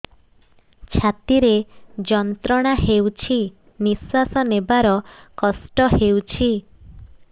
ଛାତି ରେ ଯନ୍ତ୍ରଣା ହେଉଛି ନିଶ୍ଵାସ ନେବାର କଷ୍ଟ ହେଉଛି